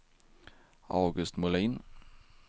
August Molin